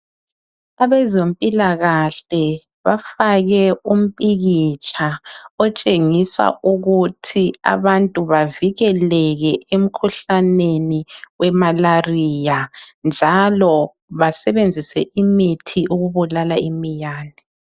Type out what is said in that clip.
Abezempilakahle bafake umpikitsha otshengisa ukuthi abantu bavikeleke emkhuhlaneni wemalaria, njalo basebenzise imithi ukubulala imiyane.